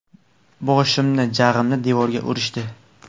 Boshimni, jag‘imni devorga urishdi”.